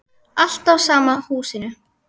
Alltaf sama húsinu.